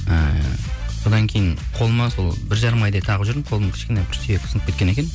ііі содан кейін қолыма сол бір жарым айдай тағып жүрдім қолым кішкене бір сүйік сынып кеткен екен